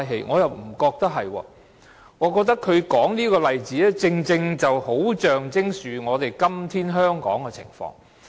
我倒覺得不是，我覺得他說這個例子，恰好象徵今天香港的情況。